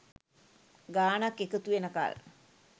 ගානක් එකතු වෙනකල්.